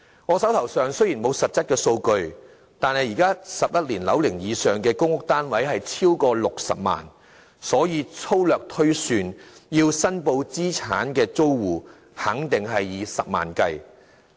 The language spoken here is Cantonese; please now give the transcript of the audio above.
我手邊雖然沒有實質的數據，但現時11年樓齡以上的公屋單位超過60萬個，所以粗略推算，須申報資產的租戶肯定數以十萬計。